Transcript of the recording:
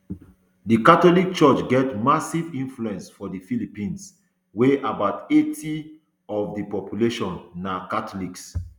di catholic church get massive influence for di philippines wia about eighty of di population na catholic